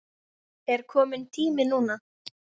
Er kominn tími núna?